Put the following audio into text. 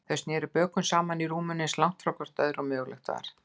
Þau sneru bökum saman í rúminu, eins langt hvort frá öðru og mögulegt var.